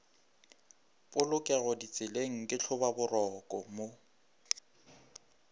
polokego ditseleng ke tlhobaboroko mo